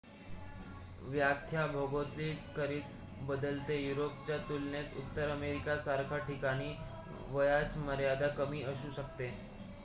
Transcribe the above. व्याख्या भौगोलिकरीत्या बदलते युरोपच्या तुलनेत उत्तर अमेरिकेसारख्या ठिकाणी वयाची मर्यादा कमी असू शकते